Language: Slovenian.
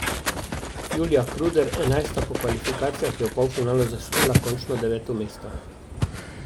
Julija Kruder, enajsta po kvalifikacijah, je v polfinalu zasedla končno deveto mesto.